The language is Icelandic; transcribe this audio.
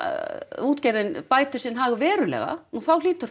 útgerðin bætir sinn hag verulega nú þá hlýtur það